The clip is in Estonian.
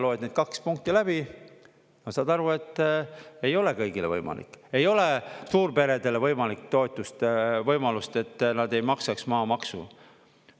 Loed need kaks punkti läbi ja saad aru, et ei ole kõigile võimalik: ei ole suurperedele võimalik toetust, võimalust, et nad ei maksaks maamaksu.